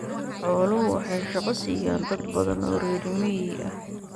Xooluhu waxay shaqo siiyaan dad badan oo reer miyi ah.